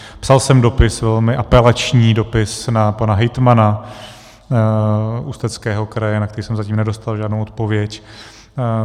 Psal jsem dopis, velmi apelační dopis na pana hejtmana Ústeckého kraje, na který jsem zatím nedostal žádnou odpověď.